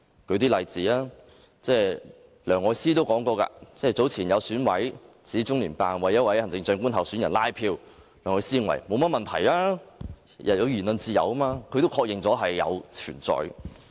讓我舉一些例子，有選委早前指中聯辦為一位行政長官候選人拉票，梁愛詩認為沒有甚麼問題，每個人都有言論自由，她確認了這種情況的確存在。